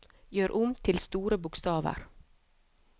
Gjør om til store bokstaver